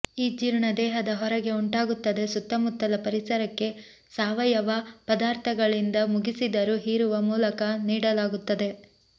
E ಜೀರ್ಣ ದೇಹದ ಹೊರಗೆ ಉಂಟಾಗುತ್ತದೆ ಸುತ್ತಮುತ್ತಲ ಪರಿಸರಕ್ಕೆ ಸಾವಯವ ಪದಾರ್ಥಗಳಿಂದ ಮುಗಿಸಿದರು ಹೀರುವ ಮೂಲಕ ನೀಡಲಾಗುತ್ತದೆ